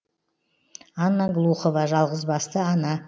анна глухова жалғызбасты ана